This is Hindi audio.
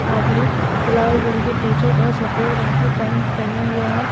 आदमी लाल रंग की टीशर्ट और सफेद रंग की पैंट पहना हुआ है।